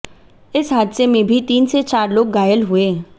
इस हादसे में भी तीन से चार लोग घायल हुए